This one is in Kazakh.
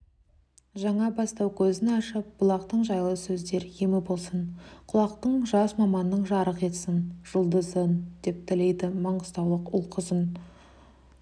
жаңа бастау көзін ашып бұлақтың жайлы сөздер емі болсын құлақтың жас маманның жарық етсін жұлдызын деп тілейді маңғыстаулық ұл-қызың